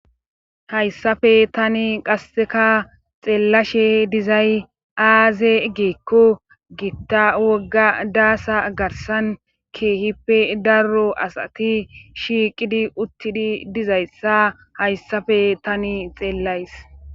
Hayssafe tani qasseka xeelashe dizay aaze giikko gitta wogga daasa garssan keehiipe daro asati shiiqidi uttidi dizayssa hayssafe tani xeelays.